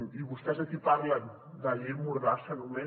i vostès aquí parlen de llei mordassa només